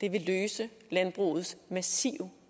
vil løse landbrugets massive